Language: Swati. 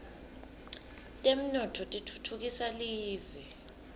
temnotfo titfutfukisa live